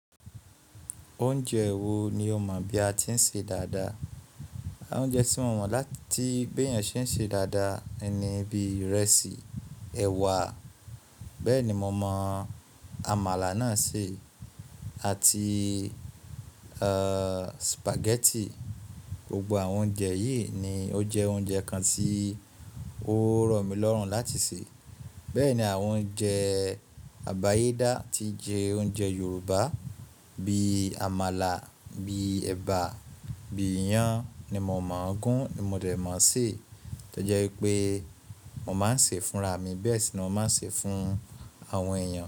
Oúnjẹ wo ni o mọ̀ bí a ti ń ṣe dáadáa? Àwọn oúnjẹ tí mo mọ̀ láti bí èèyàn ṣe ń ṣe dáadáa ni bí ìrẹsì, ẹ̀wà, bẹ́ẹ̀ ni mo mọ̀ àmàlà náà ṣe àti spaghetti. Gbogbo àwọn oúnjẹ yìí ni ó jẹ oúnjẹ kan tí ó rọ̀ mí lọ́rùn láti sè. Bẹ́ẹ̀ ni àwọn oúnjẹ àbáyédá tí jẹ oúnjẹ Yorùbá bí àmàlà, bí ẹ̀bà, bí iyan ni mo mọ̀ gún ni mo dẹ̀ mọ̀ sé. Tí ó jẹ́ pé mo máa ń sè é fúnra mi, bẹ́ẹ̀ sì ni mo máa ń sè é fún àwọn èèyàn.